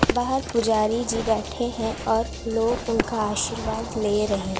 बाहर पुजारी जी बैठे है और लोग उनका आशीर्वाद लें रहे --